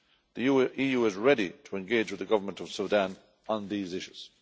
The EU is ready to engage with the Government of Sudan on these issues.